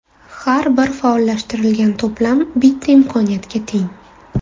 Har bir faollashtirilgan to‘plam bitta imkoniyatga teng.